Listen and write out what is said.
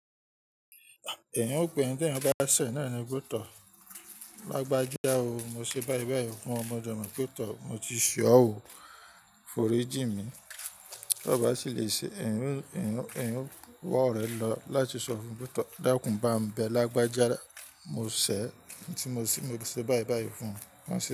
Ẹn, òpin ẹ́ tí ẹ̀niyan bá ṣẹ́ náà ni pé tọ̀, Lágbájá o, mo ṣe báyi báyi fún ọọ mo de mo pé tọ̀, mo ti ṣe ọ́ ò, foriji mi, bí kọba ṣi le ṣe, ẹ̀niyan o wa orẹ̀ lọ láti ṣọ fún pé tọ̀, dákún bámi bẹ Lágbájá mo se e, mo ṣẹ́, mo ṣe báyi báyi fún n.